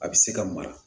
A bɛ se ka mara